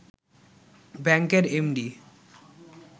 ব্যাংকের এমডি